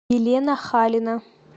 елена халина